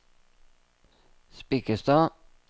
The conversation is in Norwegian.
Spikkestad